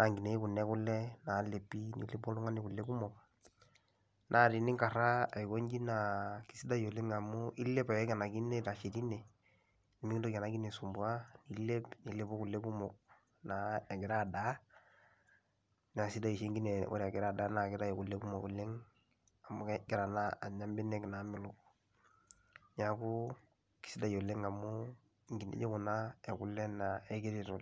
aipang na nkinejik ekule nalepi ,nelepi kule kumok natininkaraa aikonji nilep itashe tine nemikingil enakine aisumbua nilep nilepu kule kumok egira adaa naisidai oshi enkine ore egira adaa amu kegira anya mbenek namelok, neaku kesidai oleng amu nkinejik kuna ekule na keeta kule.